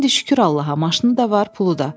İndi şükür Allaha, maşını da var, pulu da.